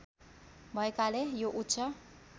भएकाले यो उच्च